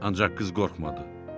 Ancaq qız qorxmadı.